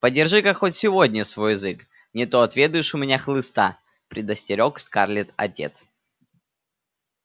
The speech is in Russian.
подержи-ка хоть сегодня свой язык не то отведаешь у меня хлыста предостерёг скарлетт отец